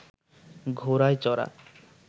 ঘোড়ায় চড়া